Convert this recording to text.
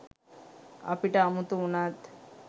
අපිට අමුතු උනත්